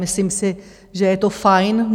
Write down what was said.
Myslím si, že je to fajn.